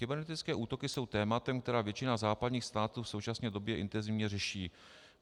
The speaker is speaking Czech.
Kybernetické útoky jsou tématem, které většina západních států v současné době intenzivně řeší.